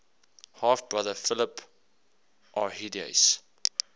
half brother philip arrhidaeus